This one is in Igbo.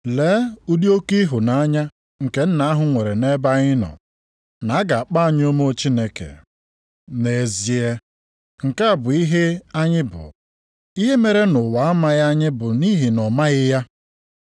Lee ụdị oke ịhụnanya nke Nna ahụ nwere nʼebe anyị nọ, na-aga akpọ anyị ụmụ Chineke. Nʼezie, nke a bụ ihe anyị bụ. Ihe mere na ụwa amaghị anyị bụ nʼihi na ọ maghị ya.